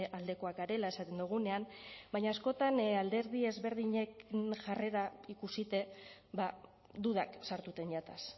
aldekoak garela esaten dugunean baina askotan alderdi ezberdinek jarrera ikusita dudak sartuten jataz